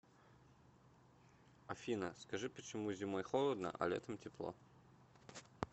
афина скажи почему зимой холодно а летом тепло